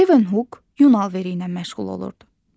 Levenhuk yun lifləri ilə məşğul olurdu.